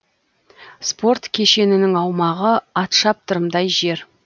спорт кешенінің аумағы атшаптырымдай жер